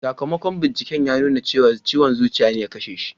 Sakamakon binciken ya nuna cewa ciwon zuciya ne ya kashe shi.